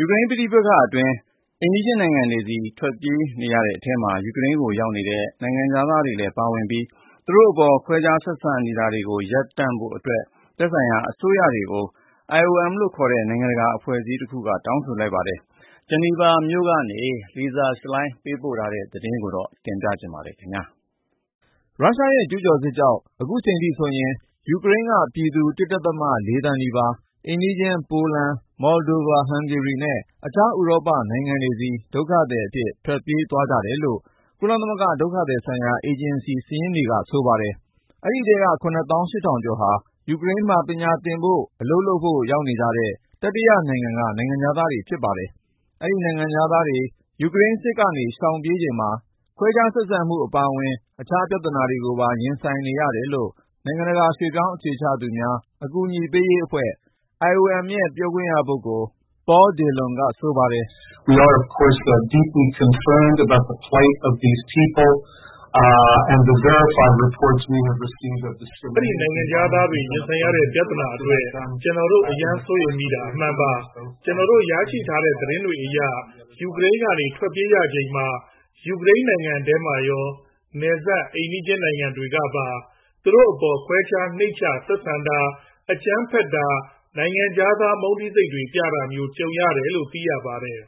ယူကရိန်း ပဋိပက္ခအတွင်း အိမ်နီးချင်းနိုင်ငံတွေဆီ ထွက်ပြေးနေရတဲ့အထဲမှာ ယူကရိန်းကို ရောက်နေတဲ့ နိုင်ငံခြားသားတွေလည်း ပါဝင်ပြီး သူတို့အပေါ် ခွဲခြားဆက်ဆံနေတာတွေ ရပ်တန့်ကြဖို့ သက်ဆိုင်ရာ အစိုးရတွေကို IOM နိုင်ငံတကာအဖွဲ့က တောင်းဆိုလိုက်ပါတယ်။ ဂျီနီဗာမြို့ကနေ Lisa Schlein သတင်းပေးပို့ထားတာကို ကိုဉာဏ်ဝင်းအောင် တင်ပြပေးထားပါတယ်။ ရုရှားရဲ့ ကျူးကျော်စစ်ကြောင့် အခုချိန်ထိဆိုရင် ယူကရိန်းက ပြည်သူ ၁ ဒသမ ၄ သန်းနီးပါး အိမ်နီးချင်း ပိုလန်၊ မောလ်ဒိုဗာ၊ ဟန်ဂေရီနဲ့ တခြား ဥရောပနိုင်ငံတွေဆီ ဒုက္ခသည်အဖြစ် ထွက်ပြေးသွားကြတယ်လို့ ကုလသမဂ္ဂ ဒုက္ခသည်ဆိုင်ရာ အေဂျင်စီ စာရင်းတွေက ဆိုပါတယ်။ အဲဒီထဲက ၇ သောင်း ၈ ထောင်ကျော်ဟာ ယူကရိန်းမှာ ပညာသင်ဖို့၊ အလုပ်လုပ်ဖို့ ရောက်နေကြတဲ့ တတိယနိုင်ငံက နိုင်ငံခြားသားတွေ ဖြစ်ကြပါတယ်။ အဲဒီ နိုင်ငံခြားသားတွေ ယူကရိန်းစစ်က ရှောင်ပြေးချိန်မှာ ခွဲခြားဆက်ဆံမှု အပါအဝင် တခြားပြဿနာတွေကိုပါ ရင်ဆိုင်နေရတယ်လို့ နိုင်ငံတကာ ရွှေ့ပြောင်းအခြေချသူများ အကူအညီပေးရေးအဖွဲ့ ရဲ့ ပြောခွင့်ရပုဂ္ဂိုလ် Paul Dillon က ဆိုပါတယ်။ “အဲဒီနိုင်ငံခြားသားတွေ ရင်ဆိုင်နေရတဲ့ ပြဿနာအတွက် ကျနော်တို့ အရမ်းစိုးရိမ်မိတာ အမှန်ပါ။ ကျနော်တို့ရရှိတဲ့ သတင်းတွေအရ ယူကရိန်းကနေ ထွက်ပြေးရချိန်မှာ ယူကရိန်းနိုင်ငံထဲမှာရော နယ်စပ် အိမ်နီးချင်းနိုင်ငံတွေကပါ သူတို့အပေါ် ခွဲခြား၊ နှိမ့်ချ ဆက်ဆံတာ၊ အကြမ်းဖက်တာ၊ နိုင်ငံခြားသား မုန်းတီးစိတ်တွေ ပြတာမျိုး ကြုံရတယ်လို့ သိရပါတယ်။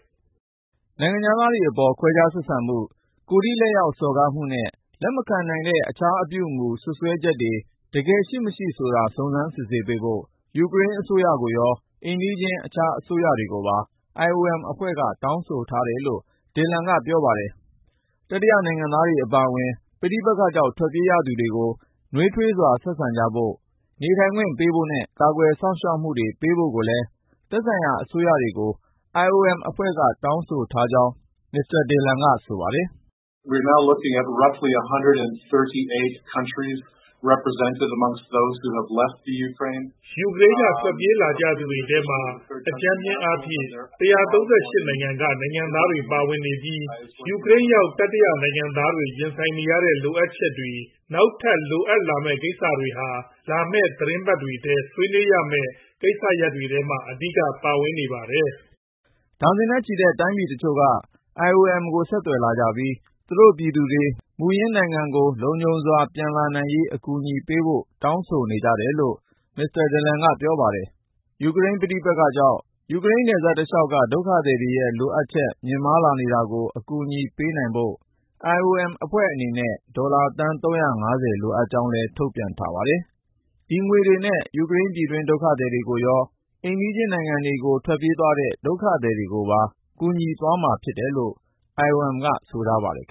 ” နိုင်ငံခြားသားတွေအပေါ် ခွဲခြားဆက်ဆံမှု၊ ကိုယ်ထိလက်ရောက် စော်ကားမှုနဲ့ လက်မခံနိုင်တဲ့ တခြားအပြုအမူ စွပ်စွဲချက်တွေ တကယ်ရှိမရှိဆိုတာ စုံစမ်းစစ်ဆေးပေးဖို့ ယူကရိန်းအစိုးရကိုရော အိမ်နီးချင်း တခြားအစိုးရတွေကိုပါ IOM အဖွဲ့က တောင်းဆိုထားတယ်လို့ Dillon က ပြောပါတယ်။ တတိယနိုင်ငံသားတွေ အပါအဝင် ပဋိပက္ခကြောင့် ထွက်ပြေးရသူတွေကို နွေးထွေးစွာ ဆက်ဆံကြဖို့၊ နေထိုင်ခွင့်ပေးဖို့နဲ့ ကာကွယ်စောင့်ရှောက်မှုတွေ ပေးဖို့ကိုလည်း သက်ဆိုင်ရာ အစိုးရတွေကို IOM က တောင်းဆိုထားကြောင်း Dillon က ဆိုပါတယ်။ “ယူကရိန်းက ထွက်ပြေးလာသူတွေထဲမှာ အကြမ်းဖျင်းအားဖြင့် ၁၃၈ နိုင်ငံက နိုင်ငံသားတွေ ပါဝင်နေပြီး ယူကရိန်းရောက် တတိယနိုင်ငံသားတွေ ရင်ဆိုင်နေရတဲ့ လိုအပ်ချက်တွေ၊ နောက်ထပ် လိုအပ်လာမယ့် ကိစ္စတွေဟာ လာမယ့် သီတင်းပတ်တွေထဲ ဆွေးနွေးရမယ့် ကိစ္စရပ်တွေထဲမှာ အဓိက ပါဝင်နေပါတယ်။” ဒါဇင်နဲ့ချီတဲ့ တိုင်းပြည်တချို့က IOM ကို ဆက်သွယ်လာပြီး သူတို့ပြည်သူတွေ မူလနိုင်ငံကို လုံခြုံစွာ ပြန်လာနိုင်ရေး အကူအညီပေးဖို့ တောင်းဆိုနေကြတယ်လို့ Dillon က ပြောပါတယ်။ ယူကရိန်း ပဋိပက္ခကြောင့် ယူကရိန်းနယ်စပ်တလျှောက်က ဒုက္ခသည်တွေရဲ့ လိုအပ်ချက် မြင့်မားလာနေတာကို အကူအညီပေးနိုင်ဖို့ IOM အဖွဲ့အနေနဲ့ ဒေါ်လာသန်း ၃၅၀ လိုအပ်ကြောင်းလည်း ထုတ်ပြန်ထားပါတယ်။ ဒီငွေတွေနဲ့ ယူကရိန်း ပြည်တွင်းဒုက္ခသည်တွေရော အိမ်နီးချင်းနိုင်ငံတွေကို ထွက်ပြေးသွားတဲ့ ဒုက္ခသည်တွေကိုပါ ကူညီသွားမှာ ဖြစ်တယ်လို့ ဆိုပါတယ်။